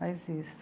Mas isso.